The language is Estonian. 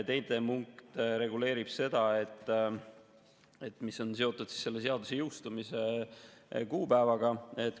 Teine punkt reguleerib seda, mis on seotud seaduse jõustumise kuupäevaga.